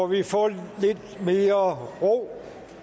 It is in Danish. vi få lidt mere ro